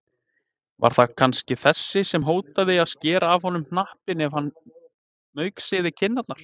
Var það kannski þessi sem hótaði að skera af honum hnappinn ef hann mauksyði kinnarnar?